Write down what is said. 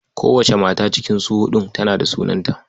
Kowace mata cikin su huɗun tana da sunanta.